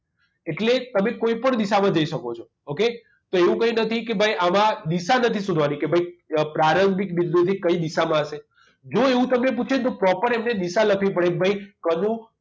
એટલે તમે કોઈપણ દિશામાં જઈ શકો છો okay તો એવું કંઈ નથી કે ભાઈ આમાં દિશા નથી શોધવાની કે ભાઈ પ્રારંભિક બિંદુથી કઈ દિશામાં હશે જુઓ એવું તમને પૂછે તો proper એમને દિશા લખવી પડે ભાઈ કનુ